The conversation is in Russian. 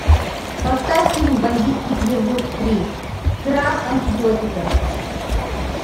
поставь фильм бандитский петербург три крах антибиотика